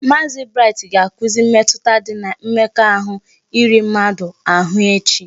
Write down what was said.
Maazi Bright ga akuzi mmetụta dị na mmekọahụ iri mmadụ ahụ echi